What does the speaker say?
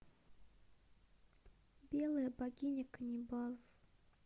белая богиня каннибалов